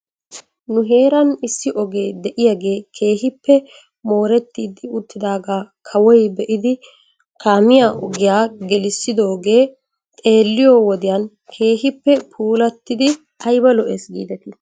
Nu heeran issi ogee de'iyaagee keehippe moorettidi uttidaagaa kawoy be'idi kaamiyaa ogiyaa gelissidoogee xeelliyoo wodiyan keehippe puulattidi ayba lo'es giidetii?